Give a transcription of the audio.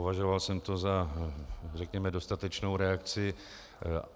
Považoval jsem to za, řekněme, dostatečnou reakci.